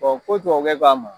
Ɔn ko tubabukɛ ko a ma